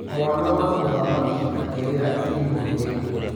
Mwana wa mũthamaki akĩrĩra irimũ rĩrĩa.